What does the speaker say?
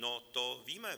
No, to víme.